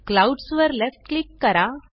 clouds वर left click करा